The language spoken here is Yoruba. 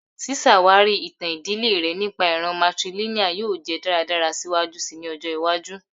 Ṣiṣawari itan idile rẹ nipa iran matrilineal yoo jẹ daradara siwaju sii ni ọjọ iwaju